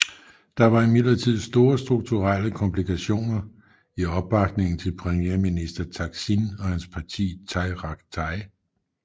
Der var imidlertid store strukturelle komplikationer i opbakningen til premierminister Thaksin og hans parti Thai Rak Thai